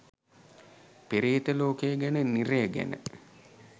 පෙරේත ලෝකය ගැන නිරය ගැන